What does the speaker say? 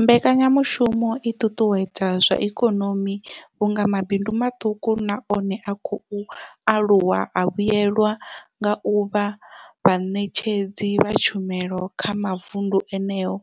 Mbekanyamushumo i ṱuṱuwedza zwa ikonomi vhunga mabindu maṱuku na one a khou aluwa a vhuelwa nga u vha vhaṋetshedzi vha tshumelo kha mavundu eneyo